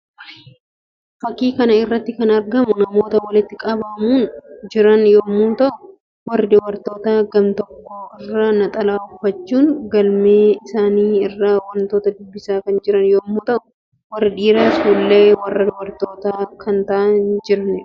Fakkii kana irratti kan argamu namoota walitti qabamuun jiran yammuu ta'u; warri dubartootaa gam_tokko irra naxalaa uffachuun galmee isaanii irraa wantoota dubbisaa kan jiran yammuu ta'u: warri dhiiraas fuullee warra dubartootaa kan ta'aa jiraniidha.